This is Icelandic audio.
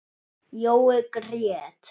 Jói grét.